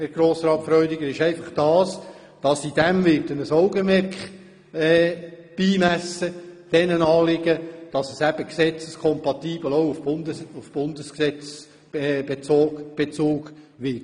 Ich werde diesen Anliegen ein Augenmerk beimessen, sodass der Bezug in unserer Wegleitung mit dem Bundesgesetz kompatibel sein wird.